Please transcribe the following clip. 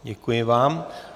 Děkuji vám.